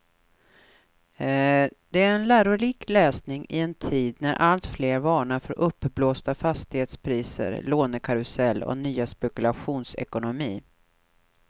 Det är en lärorik läsning i en tid när alltfler varnar för uppblåsta fastighetspriser, lånekarusell och ny spekulationsekonomi.